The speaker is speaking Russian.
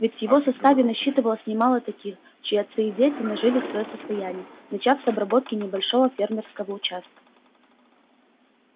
ведь в его составе насчитывалось немало таких чьи отцы и дети нажили своё состояние начав с обработки небольшого фермерского участка